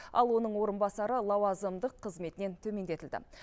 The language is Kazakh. ал оның орынбасары лауазымдық қызметінен төмендетілді